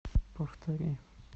повтори